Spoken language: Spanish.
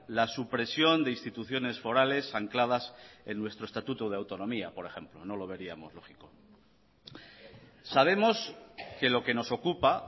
la supresión de instituciones forales ancladas en nuestro estatuto de autonomía por ejemplo no lo veríamos lógico sabemos que lo que nos ocupa